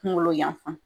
Kunkolo yan fan